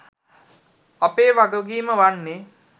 අපේ වගකීම වන්නේ